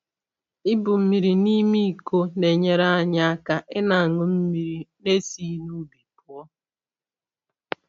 Ibu mmiri n’ime iko na-enyere anyị aka ịna aṅụ mmiri n'esighi n’ubi pụọ